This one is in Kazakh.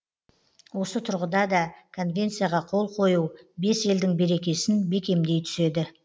осы тұрғыда да конвенцияға қол қою бес елдің берекесін бекемдей түседі